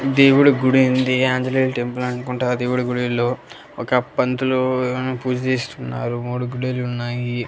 దేవుడి గుడి ఉంది ఆంజనేయులు టెంపుల్ అనుకుంటా దేవుడి గుడిలో ఒక పంతులు కానీ పూజ చేస్తున్నారు మూడు గుడిలు ఉన్నాయి.